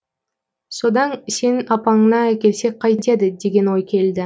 содан сенің апаныңа әкелсек қайтеді деген ой келді